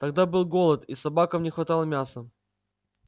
тогда был голод и собакам не хватало мяса